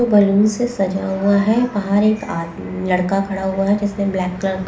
जो बलून से सजा हुआ है बाहर एक आदमी लड़का खड़ा हुआ है जिसने ब्लैक कलर --